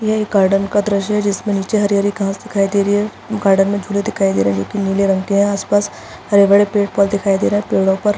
यह एक गार्डन का दृस्य है जिसमे निचे हरी - हरी घास दिखाई दे रही है गार्डन में झूले दिखाई दे रहे है जो की नीले रंग के है आसपास हरे - भरे पेड़ पौधे दिखाई दे रहे है पेड़ो पर --